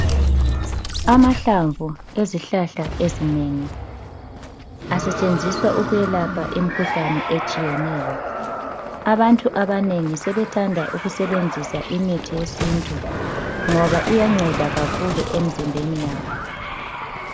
Amahlamvu ezihlahla ezinengi asetshenziswa ukwelapha imikhuhlane etshiyeneyo. Abantu abanengi sebethanda ukusebenzisa imithi yesintu ngoba iyanceda kakhulu emzimbeni yabo.